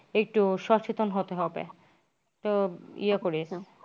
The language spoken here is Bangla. একটু সচেতন হতে হবে। তো ইয়ে করে।